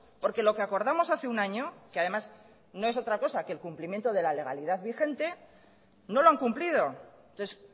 porque lo que acordamos hace un año que además no es otra cosa que el cumplimiento de la legalidad vigente no lo han cumplido entonces